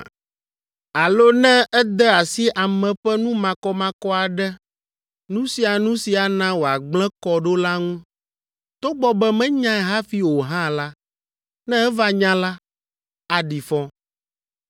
Alo ne ede asi ame ƒe nu makɔmakɔ aɖe, nu sia nu si ana wòagblẽ kɔ ɖo la ŋu, togbɔ be menyae hafi o hã la, ne eva nya la, aɖi fɔ.